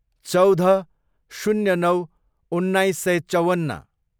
चौध, शून्य नौ, उन्नाइस सय चौवन्न